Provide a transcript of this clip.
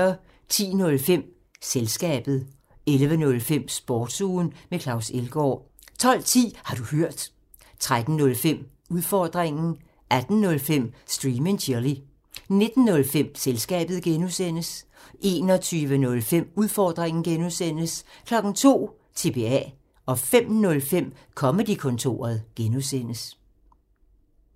10:05: Selskabet 11:05: Sportsugen med Claus Elgaard 12:10: Har du hørt? 13:05: Udfordringen 18:05: Stream and chill 19:05: Selskabet (G) 21:05: Udfordringen (G) 02:00: TBA 05:05: Comedy-kontoret (G)